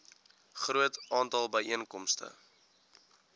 groot aantal byeenkomste